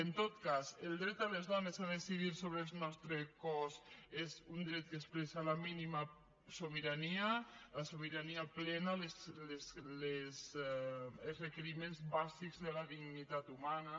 en tot cas el dret de les dones a decidir sobre el nostre cos és un dret que expressa la mínima sobirania la sobirania plena els requeriments bàsics de la dignitat humana